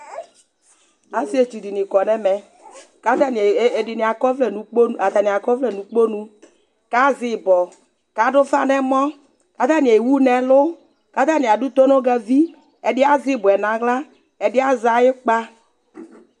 Asietsu dini kɔ nu ɛmɛ, ku ata ni ɛdini akɔ ɔvlɛ nu ukponu ata ni akɔ ɔvlɛ nu ukponu, ku azɛ ibɔ, ku adu ufa nu ɛmɔ, ku ata ni ewu nu ɛlu, ku ata ni adu tonugavi, ɛdi azɛ ibɔ yɛ nu aɣla, ɛdi azɛ ayu ukpa